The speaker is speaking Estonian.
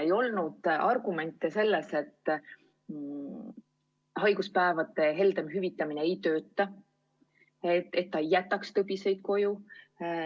Ei olnud argumente, et haiguspäevade heldem hüvitamine ei töötaks, ei jätaks tõbiseid koju.